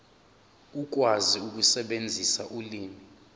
ukwazi ukusebenzisa ulimi